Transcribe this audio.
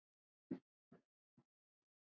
Öll látin.